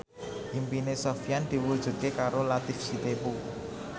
impine Sofyan diwujudke karo Latief Sitepu